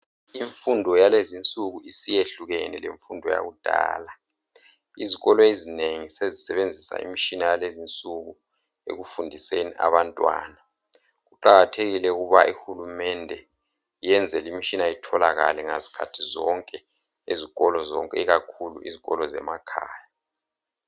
Imfundo yalezinsuku isiyehlukene lemfundo yakudala izikolo ezinengi sezisebenzisa imtshina yakulezinsuku ekufundiseni abantwana kuqakathekile ukuba uhulumende eyenze le imitshina itholakale ngzikhathi zonke ezikolweni ikakhulu izikolo zemakhaya